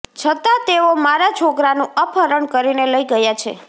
છતાં તેઓ મારાં છોકરાનું અપહરણ કરીને લઇ ગયા છે